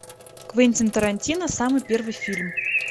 квентин тарантино самый первый фильм